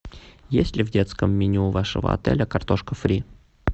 есть ли в детском меню вашего отеля картошка фри